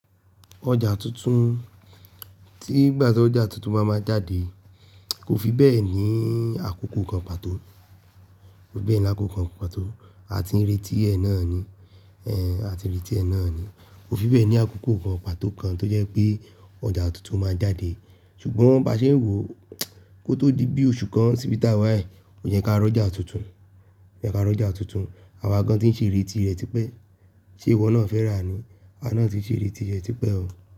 Ọjà tuntun tí ìgbà tí ọjà tuntun bá máa jáde kò fi bẹ́ẹ̀ ní àkókò kan pàtó, àti ìrètí ẹ̀ náà ni. Kò fi bẹ́ẹ̀ ní àkókò kan pàtó kan tó jẹ́ pé ọjà tuntun máa jáde. Ṣùgbọ́n bá ṣe n wò kó tó di bí oṣù kan síbi tá wá ẹ, o yẹ́ ká rọ́jà tuntun. Àwa gan tí ń ṣe ìrètí rẹ tipẹ́. Ṣe ìwọ náà fẹ́ rà ni? A náà ti ń ṣe ìrètí rẹ tipẹ́ o.